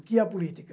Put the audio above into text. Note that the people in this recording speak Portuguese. O que é a política?